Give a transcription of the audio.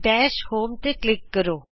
dash home ਤੇ click ਕਰੋ